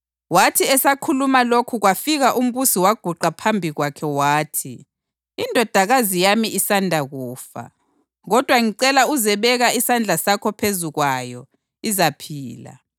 Wathi esakhuluma lokhu kwafika umbusi waguqa phambi kwakhe wathi, “Indodakazi yami isanda kufa. Kodwa ngicela uzebeka isandla sakho phezu kwayo, izaphila.”